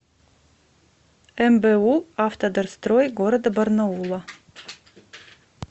мбу автодорстрой г барнаула